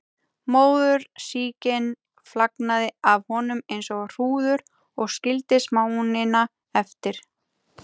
Móðursýkin flagnaði af honum eins og hrúður og skildi smánina eftir.